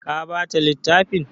Ka ba ta littafin?